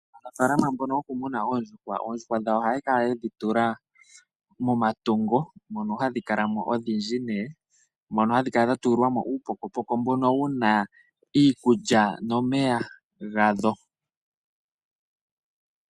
Aanafalama mbono yokumuna oondjuhwa odhindji. Oondjuhwa dhawo ohaya kala ye dhi tula momatungo mono hadhi kala mo odhindji nee, mono hadhi kala dha tulilwa mo uupokopoko mbono wuna iikulya nomeya gadho.